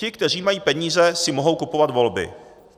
Ti, kteří mají peníze, si mohou kupovat volby.